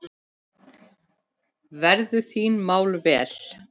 Verðu þín mál vel.